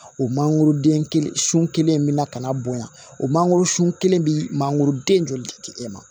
O mangoroden kelen sun kelen bɛna ka na bonya o mangoro sun kelen bɛ mangoro den joli e ma